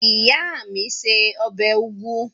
Ìyá mi se ọbẹ̀ úgú